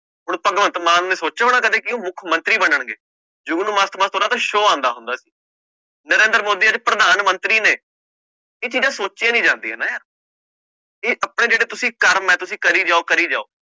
ਹੁਣ ਭਗਵੰਤ ਮਾਨ ਨੇ ਸੋਚਿਆ ਹੋਣਾ ਕਦੇ ਕਿ ਉਹ ਮੁੱਖ ਮੰਤਰੀ ਬਣਨਗੇ, ਜੁਗਨੂੰ ਮਸਤ ਮਸਤ ਉਹਦਾ ਤਾਂ show ਆਉਂਦਾ ਹੁੰਦਾ ਸੀ, ਨਰਿੰਦਰ ਮੋਦੀ ਅੱਜ ਪ੍ਰਧਾਨ ਮੰਤਰੀ ਨੇ, ਇਹ ਚੀਜ਼ਾਂ ਸੋਚੀਆਂ ਨੀ ਜਾਂਦੀਆਂ ਨਾ ਯਾਰ ਵੀ ਆਪਣੇ ਜਿਹੜਾ ਤੁਸੀਂ ਕਰਮ ਹੈ ਤੁਸੀਂ ਕਰੀ ਜਾਓ ਕਰੀ ਜਾਓ